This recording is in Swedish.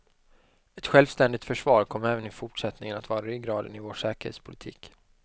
Ett självständigt försvar kommer även i fortsättningen att vara ryggraden i vår säkerhetspolitik.